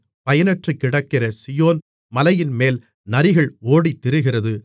பயனற்றுக்கிடக்கிற Zion மலையின்மேல் நரிகள் ஓடித்திரிகிறது